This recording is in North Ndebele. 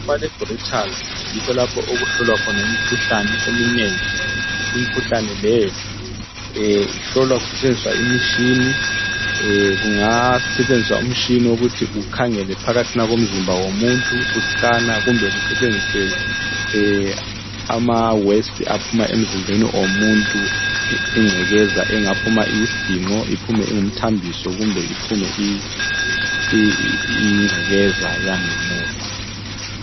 Elaboratory yikho lapho okuhlolwa khona imikhuhlane eminengi. Imikhuhlane leyo ihlolwa kusetshenziswa imitshina. Kungasetshenziswa umtshina wokuthi kukhangelwe phakathi komzimba womuntu kusikanwa kumbe kusetshenziswe ingcekeza ephuma emzimbeni womuntu; ingcekeza engaphuma iyisiginqo, iphume ingumthambiso kumbe iphume iyingcekeza eyangemuva.